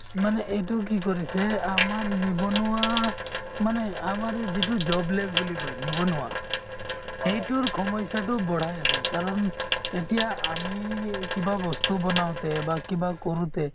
মানে এইটো কি কৰিছে আমাৰ নিবনুৱা মানে আমাৰ এই যিটো job less বুলি কই নিবনুৱা সেইটোৰ সমস্যাতোক বঢ়াই আছে কাৰণ এতিয়া আমি এই কিবা বস্তু বনাওতে বা কিবা কৰোতে